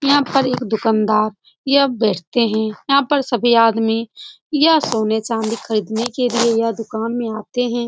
यहाँ पर एक दुकानदार यह बेचते है। यहाँ पर सभी आदमी यह सोने चांदी खरीदने के लिए यह दुकान में आते हैं।